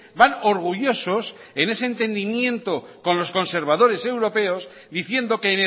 van orgullosos en ese entendimiento con los conservadores europeos diciendo que